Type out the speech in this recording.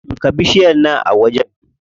Shuka bishiyar nan a wajen.